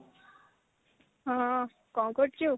ହଁ କଣ କରୁଛୁ